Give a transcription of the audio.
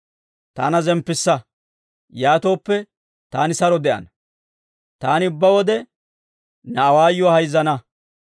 Taana zemppissa; yaatooppe, taani saro de'ana; taani ubbaa wode ne awaayuwaa hayzzana.